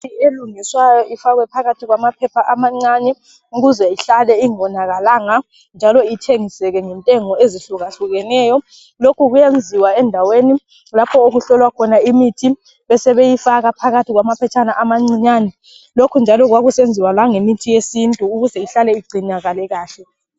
Imithi elungiswayo ifakwe phakathi kwamaphepha amancane ukuze ihlale ingonakalanga njalo ithengiseke ngentengo ezihlukahlukeneyo. Lokhu kuyenziwa endaweni lapho okuhlolwa khona imithi besebeyifaka phakathi kwamaphetshana amancinyane. Lokhu njalo kwakusenziwa langemithi yesintu ukuze ihlale igcinakale kahle.